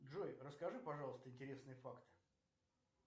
джой расскажи пожалуйста интересные факты